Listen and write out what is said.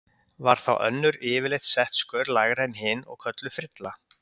Var þá önnur yfirleitt sett skör lægra en hin og kölluð frilla.